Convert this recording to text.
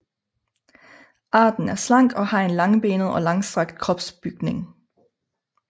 Arten er slank og har en langbenet og langstrakt kropsbygning